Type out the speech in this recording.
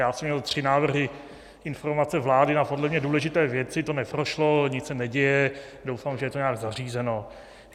Já jsem měl tři návrhy - informace vlády na podle mě důležité věci, to neprošlo, nic se neděje, doufám, že je to nějak zařízeno.